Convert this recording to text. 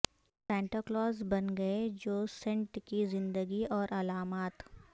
Santa Claus بن گئے جو سینٹ کی زندگی اور علامات